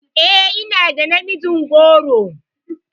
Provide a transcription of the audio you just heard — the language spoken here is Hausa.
E, ina da namijin goro.